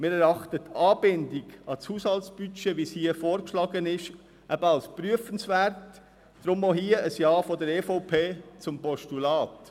Wir erachten die Anbindung an das Haushaltbudget, wie es hier vorgeschlagen ist, eben als prüfenswert – deshalb auch hier ein Ja der EVP-Fraktion zum Postulat.